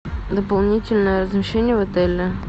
дополнительное размещение в отеле